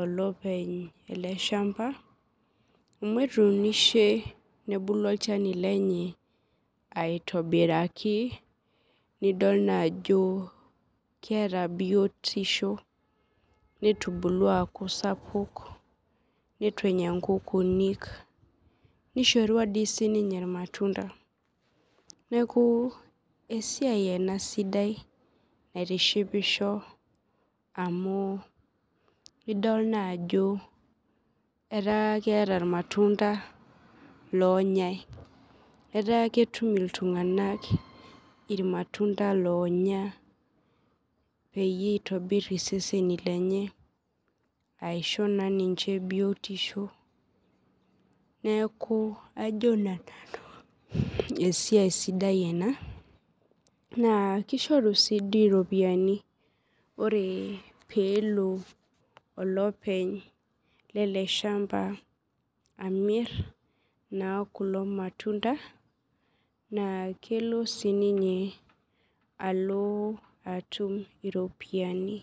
olopeny eleshamba amu etuunishe nebulu olchani lenye aitobiraki idol ajo keeta biotisho netubulua aaku sapuk nituenya nkukunik nishorua sinye irmatunda neaku esiai ena sidai naitishipisho amu idol naa ajo ataa keeta irmatunda onyae ata ketum iltunganak irmatunda onya peyie itobir iseseni lenye peisho na ninche biotisho neaku ajo nanu esiai sidai ena na kishoru si iropiyiani ore pelo olopeny eleshamba amit na kulo matunda na kelo na sininye alo atum iropiyiani.